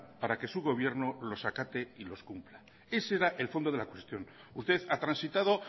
para que su gobierno los acate y los cumpla ese era el fondo de la cuestión usted ha transitado